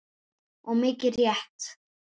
Og mikið rétt.